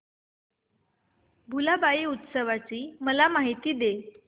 भुलाबाई उत्सवाची मला माहिती दे